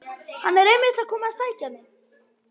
Hann er einmitt að koma að sækja mig.